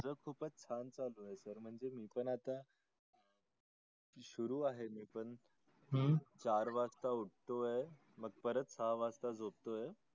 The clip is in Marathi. माझ खूपच छान चालू आहे sir म्हणजे मी पण आता सुरु आहे मी पण चार वाजता उटो आहे परत सहा वाजता झोपतो आहे.